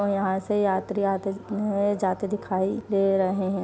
और यहां से यात्री आते हैं जाते दिखाई दे रहे हैं।